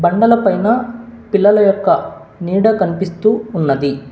బండల పైనా పిల్లల యొక్క నీడ కనిపిస్తూ ఉన్నది.